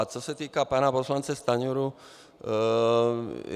A co se týká pana poslance Stanjury.